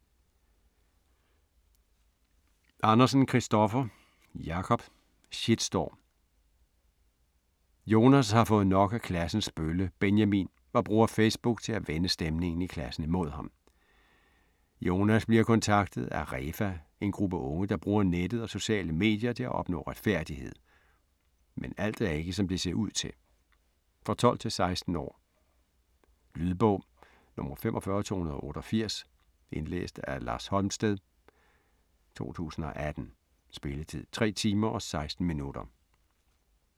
Andersen, Kristoffer Jacob: Shitstorm Jonas har fået nok af klassens bølle, Benjamin, og bruger Facebook til at vende stemningen i klassen imod ham. Jonas bliver kontaktet af ReFA, en gruppe unge, der bruger nettet og sociale medier til at opnå retfærdighed. Men alt er ikke som det ser ud til. For 12-16 år. Lydbog 45288 Indlæst af Lars Holmsted, 2018. Spilletid: 3 timer, 16 minutter.